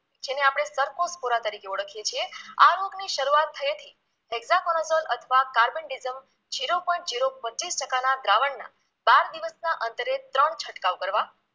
જેને આપણે સરફોશપોરા તરીકે ઓળખીએ છીએ આ રોગની શરૂઆત થઈ હતી હેક્ઝાફણોસોલ અથવા કાર્બનટીઝમ zero point zero બત્રીસ ટકાના દ્રાવણના બાર દિવસના અંતરે ત્રણ છંટકાવ કરવા